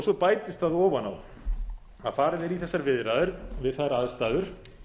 svo bætist það ofan á að farið er í þessar viðræður við þær aðstæður